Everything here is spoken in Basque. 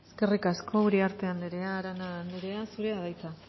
eskerrik asko uriarte andrea arana andrea zurea da hitza